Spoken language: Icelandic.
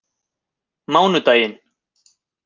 mánudaginn